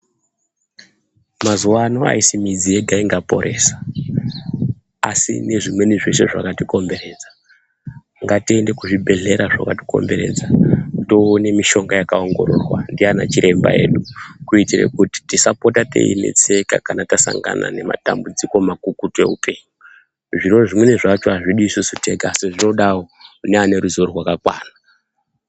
Muzuwaano aisi midzi yega ingaporesa, asi nezvimweni zveshe zvakatikomberedza. Ngatiende kuzvibhadhlera zvakatikomberedza toone mishonga yakaongororwa ndiana chiremba edu kuitire kuti tisapota teinetseka kana tasangana nematambudziko makukutu eupenyu. Zviro zvimweni zvacho azvidi tega, asi zvinodawo kune vaneruzivo rwakakwana.